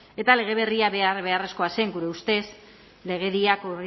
eta lege berria behar beharrezkoa zen gure ustez legedia